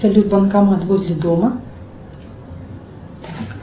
салют банкомат возле дома